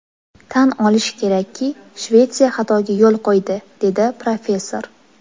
Tan olish kerakki, Shvetsiya xatoga yo‘l qo‘ydi”, dedi professor.